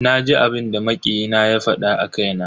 Naji abinda makiyi na ya fada a kaina.